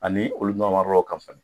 Ani olu ka fisa.